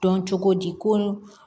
Dɔn cogo di ko